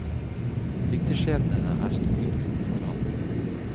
Dikterskjebnene er stukket ut på forhånd.